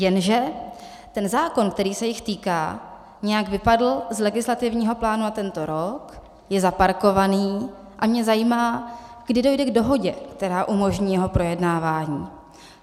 Jenže ten zákon, který se jich týká, nějak vypadl z legislativního plánu na tento rok, je zaparkovaný, a mě zajímá, kdy dojde k dohodě, která umožní jeho projednávání.